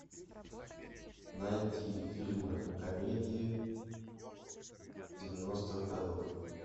найти фильмы комедии девяностых годов